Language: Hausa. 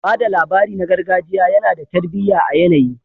Ba da labari na gargajiya yana da tarbiyya a yanayi